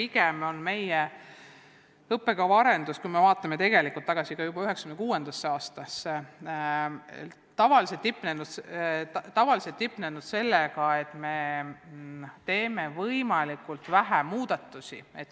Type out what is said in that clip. Samas on meie õppekava arendus, kui me vaatame tagasi näiteks 1996. aastasse, piirdunud sellega, et me teeme võimalikult vähe muudatusi.